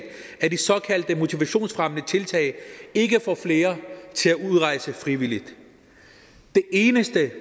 at de såkaldte motivationsfremmende tiltag ikke får flere til at udrejse frivilligt det eneste